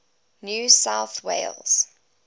new south wales